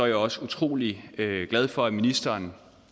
jeg også utrolig glad for at ministeren